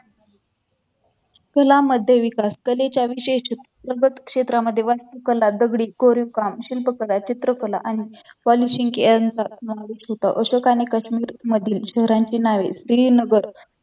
कला मध्य विकास कलेच्या विशेष प्रगत क्षेत्रामध्ये वास्तुकला दगडी कोरीवकाम शिल्पकला चित्रकला आणि नॉलेज होत अशोकाने काश्मीर मधील शहरांची नावे श्रीनगर